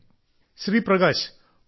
നമസ്കാരം ബഹുമാനപ്പെട്ട പ്രധാനമന്ത്രി ജി